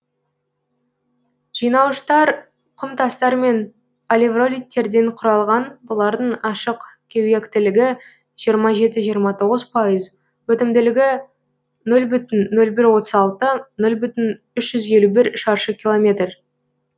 жинауыштар құмтастар мен алевролиттерден құралған бұлардың ашық кеуектілігі жиырма жеті жиырма тоғыз пайыз өтімділігі нөл бүтін нөл бір отыз алты нөл бүтін үш жүз елу бір шаршы километр